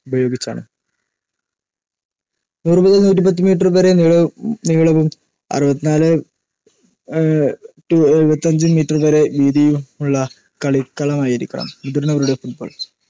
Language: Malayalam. ഉപയോഗിച്ചാണ്. നൂറ് മുതൽ നൂറ്റിപ്പത്ത് മീറ്റർ വരെ നീളവും അറുപത്തിനാല് two എഴുപത്തിയഞ്ച് മീറ്റർ വരെ വീതിയുമുളള കളിക്കളമായിരിക്കണം മുതിർന്നവരുടെ ഫുട്ബോൾ